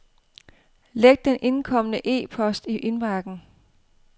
Læg den indkomne e-post i indbakken.